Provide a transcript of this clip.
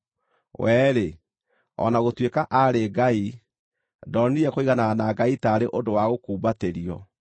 We-rĩ, o na gũtuĩka aarĩ Ngai, ndonire kũiganana na Ngai taarĩ ũndũ wa gũkumbatĩrio,